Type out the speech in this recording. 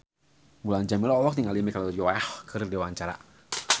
Mulan Jameela olohok ningali Michelle Yeoh keur diwawancara